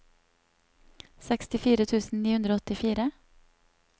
sekstifire tusen ni hundre og åttifire